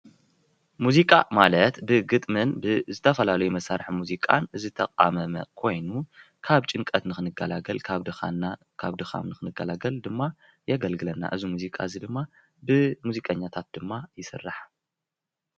ሙዚቃ ማለት ብግጥምን ብዝተፈላለዩ መሳርሒ ሙዚቃ ዝተቃመመ ኮይኑ ካብ ጭንቀት ንክንገላገል ካብ ድካምና ንክንገላገል ድማ የገልግለና ። እዚ ሙዚቃ እዚ ድማ ብሙዚቀኛታት ድማ ይስራሕ፡፡